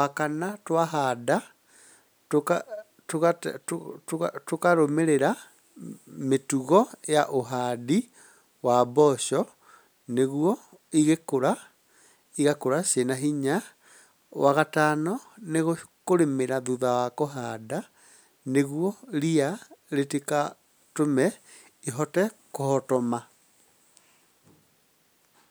Wa kana, twahanda tũkarũmĩrĩra mĩtugo ya ũhandi wa mboco, nĩguo igĩkũra irĩ na hinya. Wa gatano, nĩ kũrĩmĩra thutha wa kũhanda, nĩguo ria rĩtigatũme ihote kũhotoma.